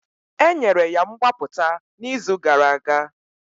Enyere ya mgbapụta n'izu gara aga